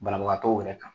Banabagatɔw yɛrɛ kan